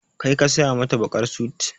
Kai ka saya mata baƙar sut?